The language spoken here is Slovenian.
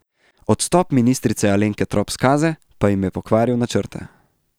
Odstop ministrice Alenke Trop Skaze pa jim je pokvaril načrte.